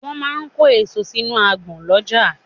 Wọ́n máa ń kó èso sínú agbọ̀n lọ́jà.